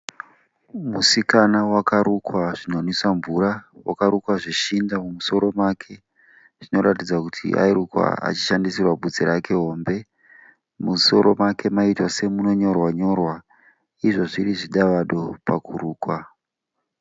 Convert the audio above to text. Musikana wakarukwa zvinonwisa mvura. Wakarukwa zveshinda mumusoro make zvinoratidza kuti airukwa achishandisirwa bvudzi rake hombe . Musoro make maiita semunonyorwa nyorwa izvo zviri zvidavado pakurukwa.